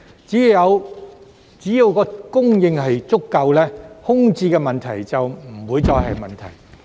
只要供應足夠，空置問題便不再存在。